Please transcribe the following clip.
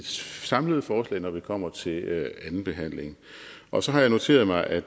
samlede forslag når vi kommer til andenbehandlingen og så har jeg noteret mig at